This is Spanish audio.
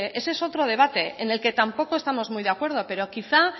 ese es otro debate en el que tampoco estamos muy de acuerdo pero quizá